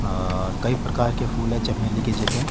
आ कई प्रकार के फूल है चमेली के जैसे।